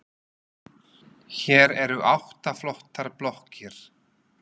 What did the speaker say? Hér eru átta flottar blokkir.